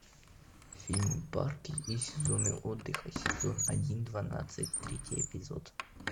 фильм парки и сезоны отдыха сезон один двенадцатый третий эпизод